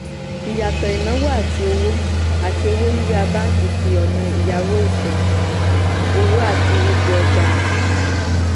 ìyàtọ̀ ìnáwó àti owó àti owó yíyá báńkì fi àwọn ọ̀nà ìyáwó ìfẹ́ owó àti ipò ọjà hàn.